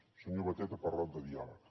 el senyor batet ha parlat de diàleg